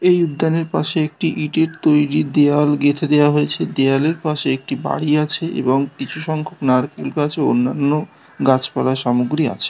এই উদ্দানের পাশে একটি তৈরী দেয়াল গেঁথে দেয়া হয়েছে। দেয়ালের পাশে একটি বাড়ি আছে এবং কিছু সংখ্যক নারকেল গাছে অন্যান্য গাছপালা সামগ্রী আছে।